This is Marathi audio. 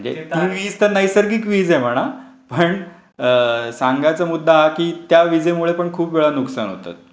म्हणजे ती वीज तर नैसर्गिक वीज आहे म्हणा. पण सांगायचा मुद्दा हा कि त्या विजेमुळे पण खूप वेळा नुकसान होतं.